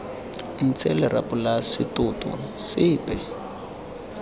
ntshe lerapo la setoto sepe